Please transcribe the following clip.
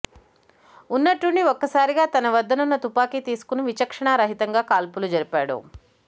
ఉన్నట్టుండి ఒక్క సారిగా తన వద్దనున్న తుపాకి తీసుకుని విచక్షణా రహితంగా కాల్పులు జరిపాడు